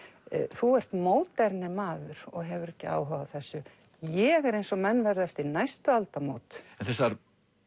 þú ert moderne maður og hefur ekki áhuga á þessu ég er eins og menn verða eftir næstu aldamót en þessar